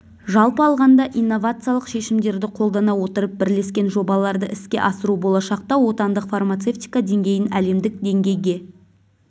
жалпы алғанда инновациялық шешімдерді қолдана отырып бірлескен жобаларды іске асыру болашақта отандық фармацевтика деңгейін әлемдік деңгейге